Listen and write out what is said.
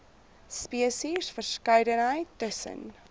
spesies verskeidenheid tussen